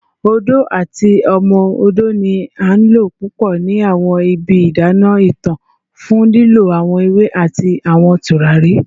Odo ati Omo Odo ni a lo pupọ ni awọn ibi idana itan fun lilọ awọn ewe ati awọn turari